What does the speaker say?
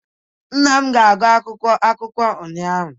nna m na-agụ akwụkwọ akụkọ ụnyaahụ